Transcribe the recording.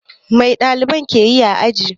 Mai ɗaliban ke yi a aji?